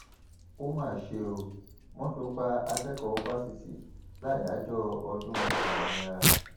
ó máa ṣe ọ mọtò pa akẹkọọ fásitì láyàájọ ọdún òmìnira